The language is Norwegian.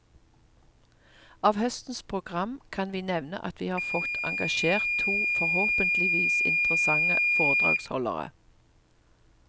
Av høstens program kan vi nevne at vi har fått engasjert to forhåpentligvis interessante foredragsholdere.